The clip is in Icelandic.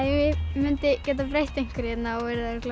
mundi geta breytt einhverju hérna þá yrði það